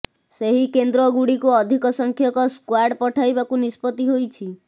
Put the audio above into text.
ସେହି କେନ୍ଦ୍ରଗୁଡ଼ିକୁ ଅଧିକ ସଂଖ୍ୟକ ସ୍କ୍ବାଡ୍ ପଠାଇବାକୁ ନିଷ୍ପତ୍ତି ହୋଇଛି